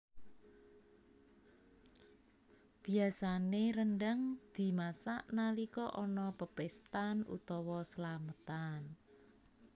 Biasané rendhang dimasak nalika ana pepéstan utawa slametan